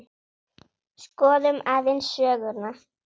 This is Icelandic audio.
Skoðum aðeins söguna.